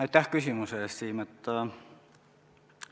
Aitäh küsimuse eest, Siim!